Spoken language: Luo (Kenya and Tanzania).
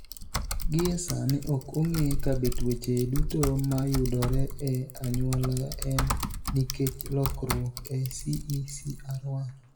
Gie sani ok ong'e kabe tuoche duto mayudore e anyuola, en nikech lokruok e CECR1.